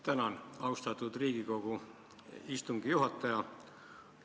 Tänan, austatud Riigikogu istungi juhataja!